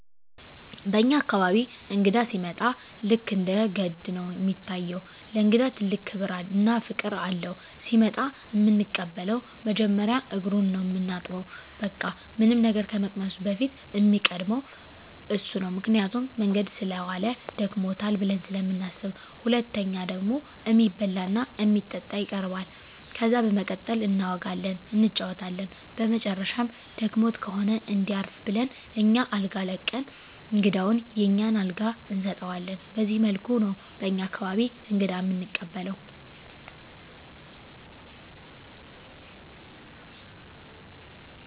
በኛ አካባቢ እንግዳ ሲመጣ ልክ እንደ ገድ ነው እሚታየው። ለእንግዳ ትልቅ ክብር እና ፍቅር አለው። ሲመጣ እምንቀበለው መጀመሪያ እግሩን ነው ምናጥበው በቃ ምንም ነገር ከመቅመሱ በፊት እሚቀድመው እሱ ነው ምክንያቱም መንገድ ሰለዋለ ደክሞታል ብለን ስለምናስብ። ሁለተኛው ደግሞ እሚበላ እና እሚጠጣ ይቀርባል። ከዛ በመቀጠል እናወጋለን እንጫወታለን በመጨረሻም ደክሞት ከሆነ እንዲያርፍ ብለን አኛ አልጋ ለቀን እንግዳውን የኛን አልጋ እንሰጠዋለን በዚህ መልኩ ነው በኛ አካባቢ እንግዳ እምንቀበለው።